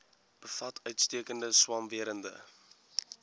bevat uitstekende swamwerende